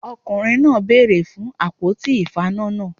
Ọkùnrin náà bèèrè fun àpótí ìfaná náà